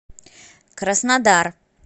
краснодар